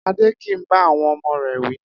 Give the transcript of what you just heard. Adé kì í bá àwo̩n o̩mo̩ rè̩ wí